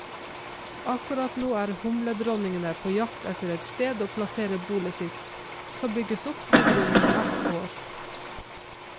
Akkurat nå er humledronningene på jakt etter et sted å plassere bolet sitt, som bygges opp fra grunnen hvert år.